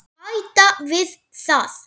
Bæta við það.